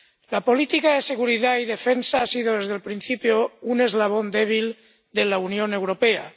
La política de seguridad y defensa ha sido, desde el principio, un eslabón débil de la Unión Europea.